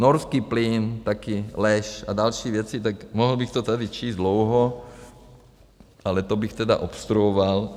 Norský plyn, taky lež a další věci, tak mohl bych to tady číst dlouho, ale to bych tedy obstruoval.